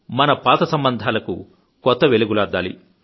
మన పాత సంబంధాలకు కొత్త మెరుగులు అద్దాలి